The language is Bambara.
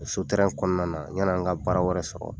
O so kɔnɔna na yanni an ka baara wɛrɛ sɔrɔ.